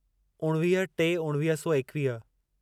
उणवीह टे उणिवीह सौ एकवीह